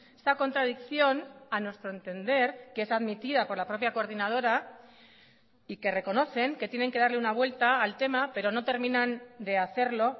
esta contradicción a nuestro entender que es admitida por la propia coordinadora y que reconocen que tienen que darle una vuelta al tema pero no terminan de hacerlo